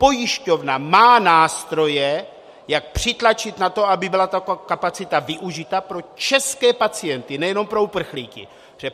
Pojišťovna má nástroje, jak přitlačit na to, aby byla ta kapacita využita pro české pacienty, nejenom pro uprchlíky.